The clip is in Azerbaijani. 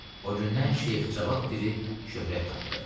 O gündən Şeyx Cavad Piri şöhrət tapdı.